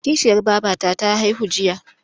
Kishiyar babata ta haihu jiya.